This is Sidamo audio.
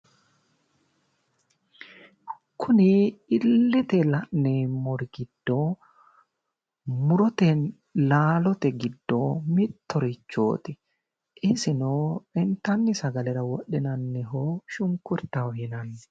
Kuni illete la'neemmori giddo murote laalote giddo mittohorichooti isino intanni sagalera wodhinanniho shunkurtaho yinanni